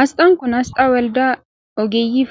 Asxaan kun, asxaa waldaa ogeeyyii